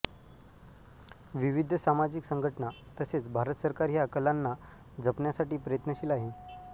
विविध सामाजिक संगठना तसेच भारत सरकार ह्या कलांना जपण्यासाठी प्रयत्नशील आहे